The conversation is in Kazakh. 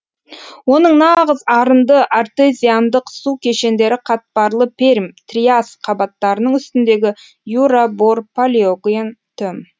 оның нағыз арынды артезиандық су кешендері қатпарлы пермь триас қабаттарының үстіндегі юра бор палеоген төм